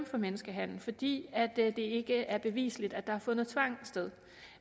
for menneskehandel fordi det ikke er bevisligt at der har fundet tvang sted